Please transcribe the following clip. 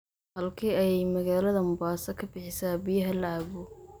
Halkee ayay magaalada Mombasa ka bixisaa biyaha la cabbo?